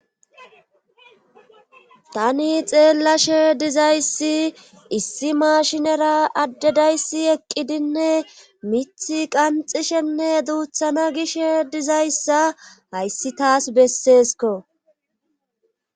tani xeellashe dizayssi issi mashinera addedayssi eqqidinne mithe qanxishenne duuthana gishe dizayssa hayssi taas besseesko